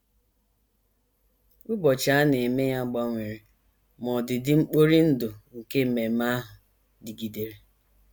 Ụbọchị a na - eme ya gbanwere, ma ọdịdị mkpori ndụ nke ememe ahụ dịgidere.